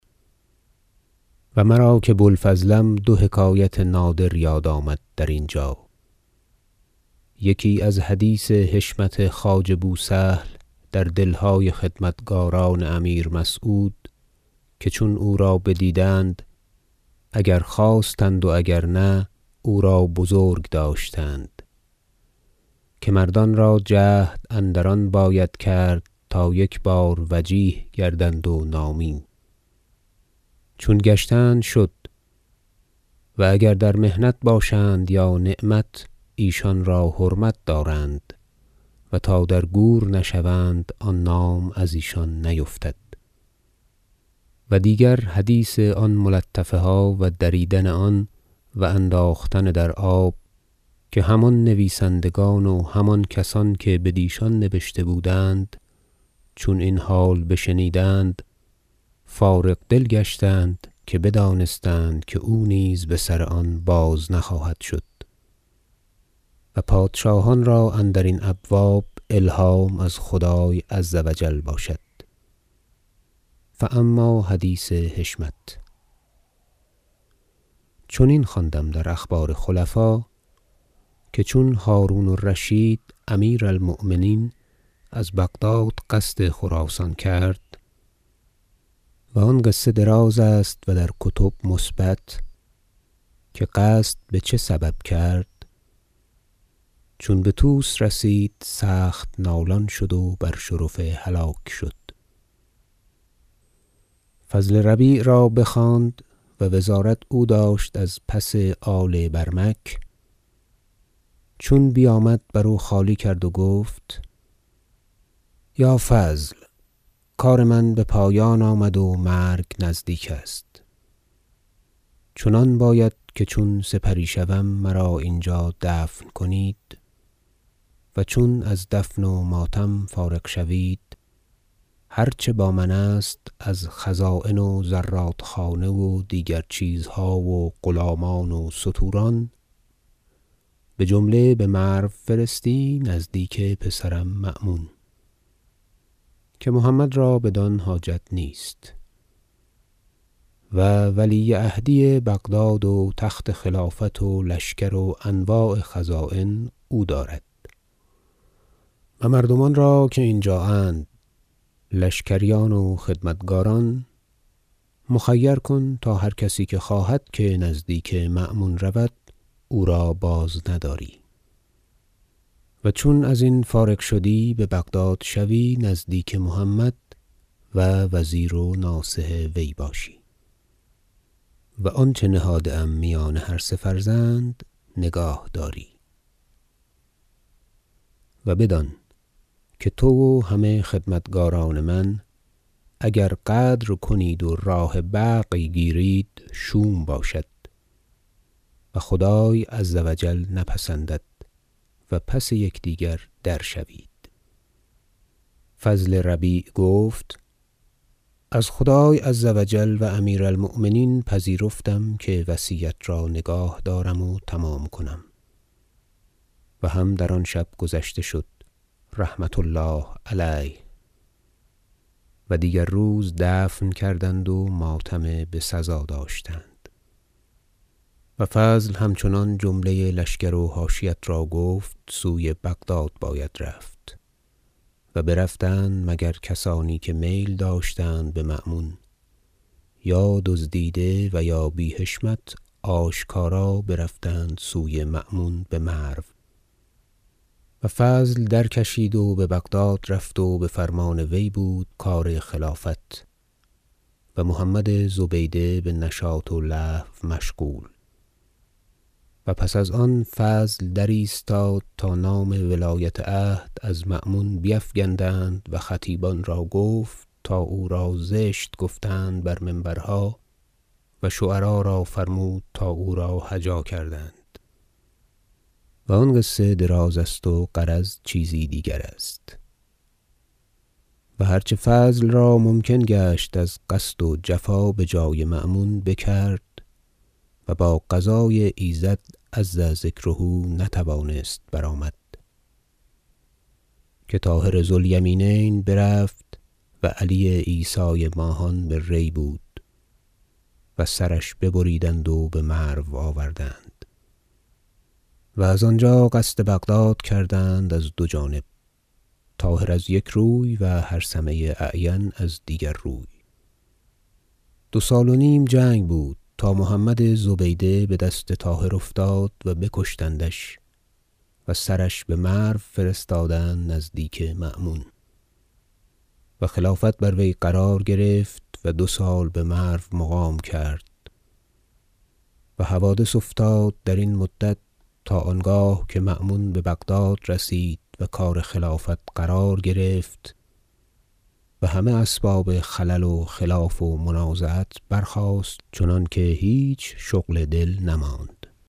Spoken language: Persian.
و مرا که بوالفضلم دو حکایت نادر یاد آمد در اینجا یکی از حدیث حشمت خواجه بوسهل در دلهای خدمتکاران امیر مسعود که چون او را بدیدند -اگر خواستند و اگر نه- او را بزرگ داشتند که مردان را جهد اندر آن باید کرد تا یک بار وجیه گردند و نامی چون گشتند و شد -و اگر در محنت باشند یا نعمت- ایشان را حرمت دارند و تا در گور نشوند آن نام ازیشان نیفتد و دیگر حدیث آن ملطفه ها و دریدن آن و انداختن در آب که هم آن نویسندگان و هم آن کسان که بدیشان نبشته بودند چون این حال بشنیدند فارغ دل گشتند که بدانستند که او نیز به سر آن باز نخواهد شد و پادشاهان را اندرین ابواب الهام از خدای -عز و جل- باشد فاما حدیث حشمت چنین خواندم در اخبار خلفا که چون هرون الرشید امیر المؤمنین از بغداد قصد خراسان کرد -و آن قصه دراز است و در کتب مثبت که قصد به چه سبب کرد- چون به طوس رسید سخت نالان شد و بر شرف هلاک شد فضل ربیع را بخواند -و وزارت او داشت از پس آل برمک - چون بیامد برو خالی کرد و گفت یا فضل کار من به پایان آمد و مرگ نزدیک است چنان باید که چون سپری شوم مرا اینجا دفن کنید و چون از دفن و ماتم فارغ شوید هرچه با من است از خزاین و زرادخانه و دیگر چیزها و غلامان و ستوران بجمله به مرو فرستی نزدیک پسرم مأمون که محمد را بدان حاجت نیست و ولی عهدی بغداد و تخت خلافت و لشکر و انواع خزاین او دارد و مردم را که اینجااند لشکریان و خدمتکاران مخیر کن تا هر کسی که خواهد که نزدیک مأمون رود او را بازنداری و چون ازین فارغ شدی به بغداد شوی نزدیک محمد و وزیر و ناصح وی باشی و آنچه نهاده ام میان هر سه فرزند نگاه داری و بدان که تو و همه خدمتکاران من اگر غدر کنید و راه بغی گیرید شوم باشد و خدای -عز و جل- نپسندد و پس یکدیگر درشوید فضل ربیع گفت از خدای -عز و جل- و امیر المؤمنین پذیرفتم که وصیت را نگاه دارم و تمام کنم و هم در آن شب گذشته شد -رحمة الله علیه- و دیگر روز دفن کردند و ماتم بسزا داشتند و فضل همچنان جمله لشکر و حاشیت را گفت سوی بغداد باید رفت و برفتند مگر کسانی که میل داشتند به مأمون یا دزدیده و یا بی حشمت آشکارا برفتند سوی مأمون به مرو و فضل درکشید و به بغداد رفت و به فرمان وی بود کار خلافت و محمد زبیده به نشاط و لهو مشغول و پس از آن فضل درایستاد تا نام ولایت عهد از مأمون بیفگندند و خطیبان را گفت تا او را زشت گفتند بر منبرها و شعرا را فرمود تا او را هجا کردند و آن قصه درازست و غرض چیزی دیگرست و هرچه فضل را ممکن گشت از قصد و جفا به جای مأمون بکرد و با قضای ایزد -عز ذکره- نتوانست برآمد که طاهر ذو الیمینین برفت و علی عیسی ماهان به ری بود و سرش ببریدند و به مرو آوردند و از آنجا قصد بغداد کردند از دو جانب طاهر از یک روی و هرثمه اعین از دیگر روی دو سال و نیم جنگ بود تا محمد زبیده به دست طاهر افتاد و بکشتندش و سرش به مرو فرستادند نزدیک مأمون و خلافت بر وی قرار گرفت و دو سال به مرو مقام کرد و حوادث افتاد در این مدت تا آنگاه که مأمون به بغداد رسید و کار خلافت قرار گرفت و همه اسباب خلل و خلاف و منازعت برخاست چنانکه هیچ شغل دل نماند